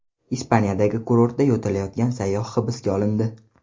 Ispaniyadagi kurortda yo‘talayotgan sayyoh hibsga olindi.